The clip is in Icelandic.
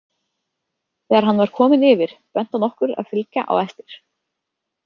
Þegar hann var kominn yfir benti hann okkur að fylgja á eftir.